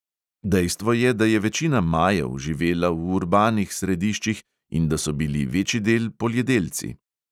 Dejstvo je, da je večina majev živela v urbanih središčih in da so bili večidel poljedelci.